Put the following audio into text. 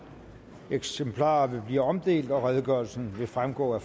eksemplarer vil blive omdelt og redegørelsen vil fremgå af